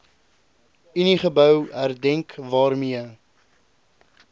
uniegebou herdenk waarmee